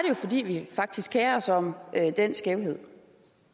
jo fordi vi faktisk kerer os om den skævhed